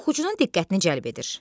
Oxucunun diqqətini cəlb edir.